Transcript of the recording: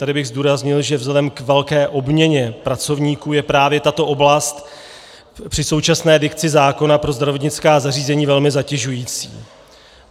Tady bych zdůraznil, že vzhledem k velké obměně pracovníků je právě tato oblast při současné dikci zákona pro zdravotnická zařízení velmi zatěžující.